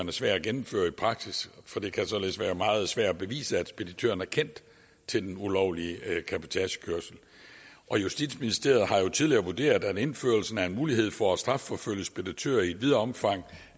er svær at gennemføre i praksis for det kan således være meget svært at bevise at speditøren har kendt til den ulovlige cabotagekørsel og justitsministeriet har jo tidligere vurderet at indførelsen af en mulighed for at strafforfølge speditører i et videre omfang